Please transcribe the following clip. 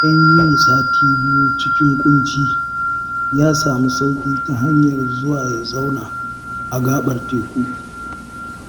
Bayan yin sati biyu cikin ƙunci, ya samu sauƙi ta hanyar zuwa ya zauna a gaɓar teku